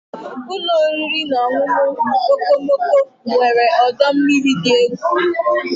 Ụlọ oriri na ọṅụṅụ okomoko nwere ọdọ mmiri dị egwu.